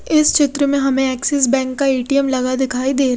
इस चित्र में हमे एक्सेस बैंक का एटीएम लगा दिखाई दे--